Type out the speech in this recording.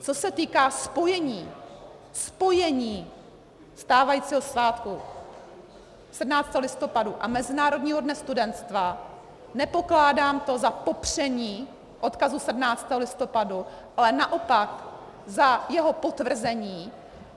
Co se týká spojení, spojení stávajícího svátku 17. listopadu a Mezinárodního dne studentstva, nepokládám to za popření odkazu 17. listopadu, ale naopak za jeho potvrzení.